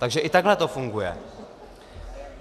Takže i takhle to funguje.